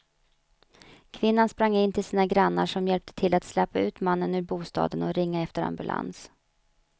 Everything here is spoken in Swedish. Kvinnan sprang in till sina grannar som hjälpte till att släpa ut mannen ur bostaden och ringa efter ambulans.